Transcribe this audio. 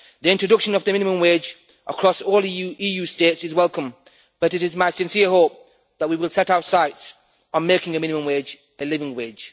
The introduction of the minimum wage across all EU states is welcome, but it is my sincere hope that we will set our sights on making a minimum wage a living wage.